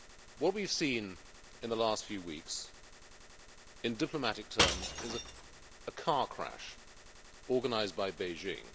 What we have seen in the last few weeks, in diplomatic terms, is a car crash organised by Beijing.